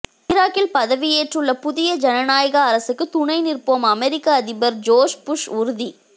ஈராக்கில் பதவியேற்றுள்ள புதிய ஜனநாயக அரசுக்கு துணை நிற்போம் அமெரிக்க அதிபர் ஜோர்ச் புஷ் உறுதி